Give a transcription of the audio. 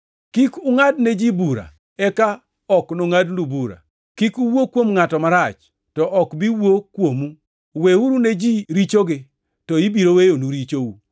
“Kik ungʼad ne ji bura, eka ok nongʼadnu bura. Kik uwuo kuom ngʼato marach, to ok bi wuo kuomu. Weuru ne ji richogi, to ibiro weyonu richou.